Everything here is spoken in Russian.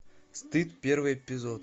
стыд первый эпизод